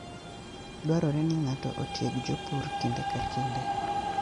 Dwarore ni ng'ato otieg jopur kinde ka kinde.